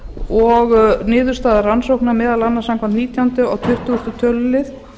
og niðurstaða rannsóknar meðal annars samkvæmt nítjándu og tuttugasta tölulið